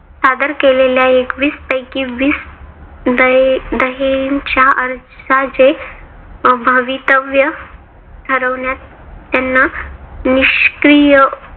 सादर केलेल्या एकवीस पैकी वीस दये दयेच्या अर्जाचे भवितव्य ठरवण्यात त्यांना निष्क्रिय